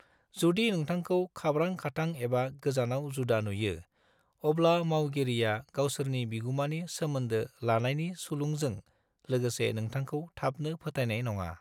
जुदि नोंथाखौ खाब्रां-खाथां एबा गोजानाव जुदा नुयो, अब्ला मावगिरिया गावसोरनि बिगुमानि सोमोन्दो लानायनि सुलुंजों लोगोसे नोंथांखौ थाबनो फोथायनाय नङा।